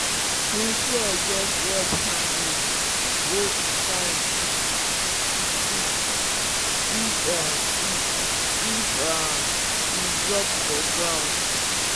him shears get red handle wey shine easy to see if see if um e drop for ground.